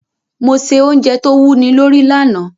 Mo se ounje to wúni lórí lanàá